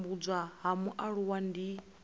u tambudzwa ha mualuwa ndi